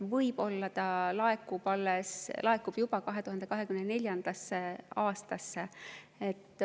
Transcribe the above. Võib-olla laekub see juba 2024. aastasse.